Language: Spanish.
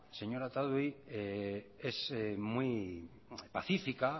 señora otadui es muy pacífica